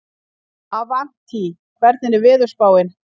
Avantí, hvernig er veðurspáin?